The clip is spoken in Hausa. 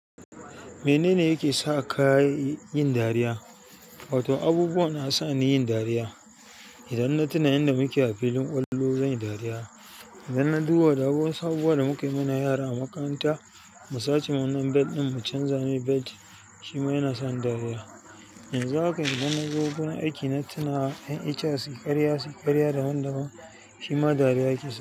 Mene ne yake sa ka yin dariya? Wato abubuwa na sa ni yin dariya. Idan na tuna yanda muke a filin ƙwallo zan yi dariya. Idan na duba da wasu abubuwan da muka yi muna yara a makaranta, mu sace wannan bed ɗin mu canza mai bed, shi ma yana sa ni dariya. Yanzu haka idan na zo wurin aiki na tuna 'yan HR su yi karya, su yi karya daban-daban, shi ma dariya yake sa.